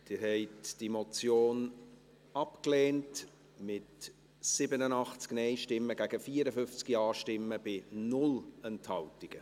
Sie haben diese Motion abgelehnt, mit 87 Nein- gegen 54 Ja-Stimmen bei 0 Enthaltungen.